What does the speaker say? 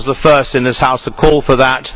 I was the first in this House to call for that.